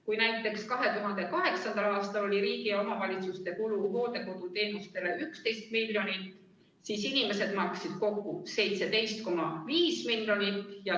Kui 2008. aastal oli riigi ja omavalitsuste kulu hooldekoduteenustele 11 miljonit, siis inimesed maksid kokku 17,5 miljonit.